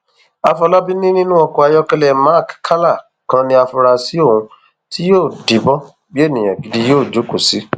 àfọlábí ni nínú ọkọ ayọkẹlẹ mark ccala kan ní àfúráṣí ohun tí yóò díbọn bíi ènìyàn gidi yóò jókòó sí